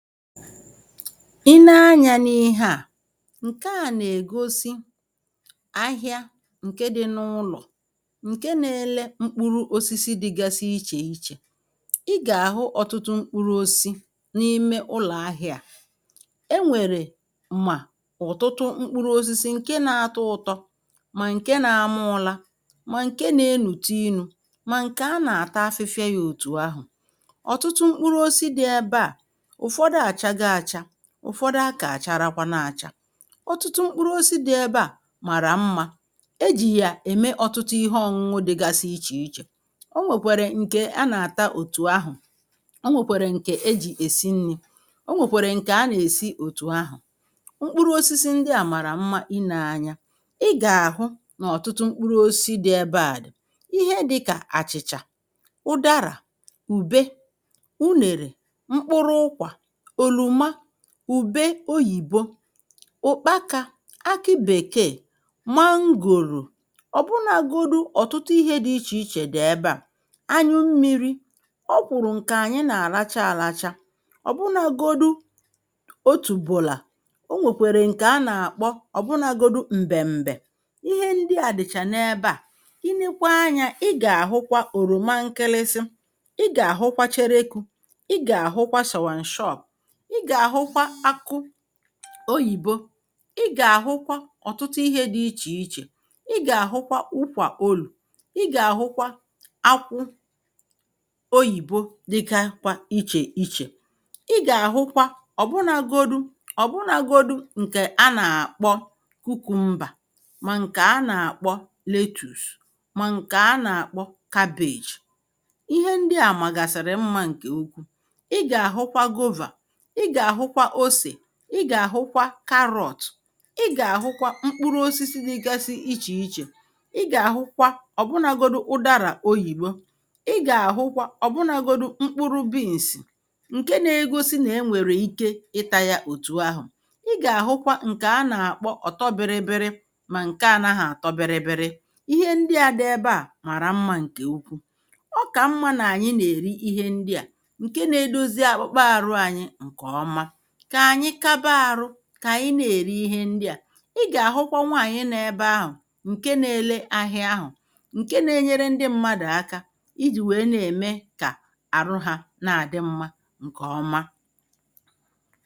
Ị ne anyā n’ihe à ǹkè a nà-ègosi ahịa ǹke dị n’ụlọ̀ ǹke na-ele mkpụru osisi dịgasi ichè iche ị gà-àhụ ọ̀tụtụ mkpụrụ osisi n’ime ụlọ̀ ahị̄ā à enwèrè mà ọ̀tụtụ mkpụrụ osisi ǹke na atọ ụtọ mà ǹke na-ama ụla mà ǹke na-enùtu inū mà ǹkè anà-àta afịfịa ya òtù ahụ̀ ọ̀tụtụ mkpụrụ osisi dị ebe à ụ̀fọdụ àchago acha ụ̀fọdụ akà àcharọkwanu acha ọtụtụ mkpụrụ osisi dị ebe à màrà mmā ejì yà ème ọ̀tụtụ ihe ọ̀ṅụnụ dịgasi ichè ichè o nwèkwèrè ǹkè anà-àta òtù ahụ̀ o nwèkwèrè ǹkè ejì èsi nnī o nwèkwèrè ǹkè anà-èsi òtù ahụ̀ mkpụrụ osisi à màrà mma inē anya ị gà-àhụ nà ọ̀tụtụ mkpụrụ osisi dị̀ ebe à dị̀ ihe dịkà àchị̀chà ụdarà ùbe unèrè mkpụrụ ụkwà òlòma ùbe oyìbo ụ̀kpakā akị bèkeè mangòrò ọ̀bụnagodu ọ̀tụtụ ihē dị ichè ichè dị̀ ebe à anyụ mmīrī ọkwụ̀rụ̀ ǹkè ànyị nà-àracha àracha ọ̀bụnagodu otùbụ̀là o nwèkwèrè ǹkè anà-àkpọ ọ̀bụnagodu m̀bèm̀bè ihe ndị à dị̀cha n’ebe à ị nekwa anyā ị gà-àhụkwa òlòma nkilisi ị gà-àhụkwa cherekū ị gà-àhụkwa shàwàǹshọp ị gà-àhụkwa akụ oyìbo ị gà-àhụkwa ọ̀tụtụ ihē dị ichè ichè ị gà-àhụkwa ụkwà olù ị gà-àhụkwa akwụ oyìbo dịkakwa ichè ichè ị gà-àhụkwa ọ̀bụnagodu ọ̀bụnagodu ǹkè anà-àkpọ cucumber mà ǹkè anà-àkpọ lettuce mà ǹkè anà-àkpọ cabbage ihe ndị à màgàsìrì mmā ǹkè ukwu ị gà-àhụkwa guava ị gà-àhụkwa osè ị gà-àhụkwa carrot ị gà-àhụkwa mkpụrụ osisi dịgasi ichè ichè ị gà-àhụkwa ọ̀bụnagodu ụdarà oyìbo ị gà-àhụkwa ọ̀bụnagodu mkpụrụ beans ǹke na-egosi nà-enwèrè ike ịtā ya òtù ahụ̀ ị gà-àhụkwa ǹkè anà-àkpọ ọ̀tọọ biri biri mà ǹke anaghị àtọ biri biri ihe ndị à dị ebe à màrà mmā ǹkè ukwu ọ kà mmā nà ànyị nà-èri ihe ndị à ǹkè na-edozi akpụkpa àrụ anyị ǹkè ọma kà ànyị kaba arụ kà ànyị na-èri ihe ndị à ị gà-àhụkwa nwaànyị nọ ebe ahụ̀ ǹke na-ele ahịa ahụ̀ ǹke na-enyere ndị mmadụ̀ aka ijì wèe na-ème kà àrụ hā na-àdị mmā ǹkè ọma